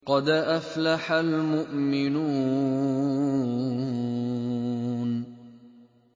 قَدْ أَفْلَحَ الْمُؤْمِنُونَ